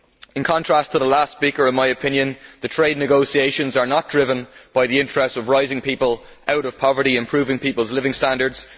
In contrast to the last speaker, in my opinion, the trade negotiations are not driven by the interests of raising people out of poverty and improving people's living standards